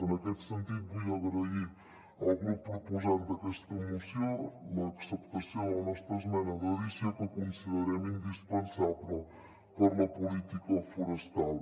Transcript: en aquest sentit vull agrair al grup proposant d’aquesta moció l’acceptació de la nostra esmena d’adició que considerem indispensable per a la política forestal